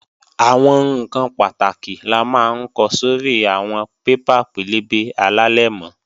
Àwọn ǹkan pàtàkì la máa ń ko sórí àwọn paper pẹlẹbẹ alálẹ̀mọ́